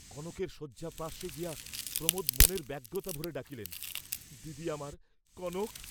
কনকের শয্যাপার্শ্বে গিয়া প্রমোদ মনের ব্যগ্রতা ভরে ডাকিলেন, দিদি আমার, কনক!